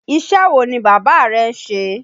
Iṣẹ́ wo ni bàbá rẹ ń ṣe?